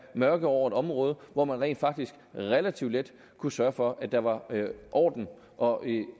mørke over et område hvor man rent faktisk relativt let kunne sørge for at der var orden og